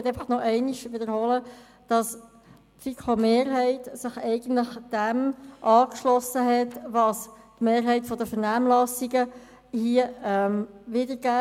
Ich möchte einfach noch einmal wiederholen, dass die FiKo-Mehrheit die Haltung eingenommen hat, die sich in der Mehrheit der Vernehmlassungsantworten widerspiegelt.